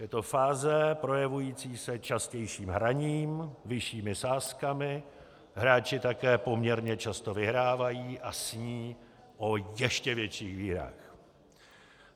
Je to fáze projevující se častějším hraním, vyššími sázkami, hráči také poměrně často vyhrávají a sní o ještě větších výhrách.